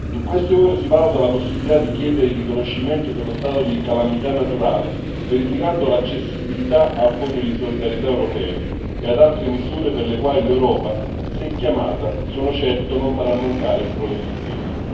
In queste ore si valuta la possibilità di chiedere il riconoscimento dello stato di calamità naturale, verificando l'accessibilità al Fondo europeo di solidarietà e ad altre misure per le quali l'Europa, se chiamata, sono certo non farà mancare il proprio sostegno.